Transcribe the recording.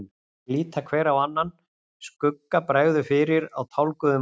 Þeir líta hver á annan, skugga bregður fyrir á tálguðum andlitunum.